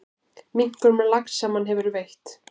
Minkur með lax sem hann hefur veitt.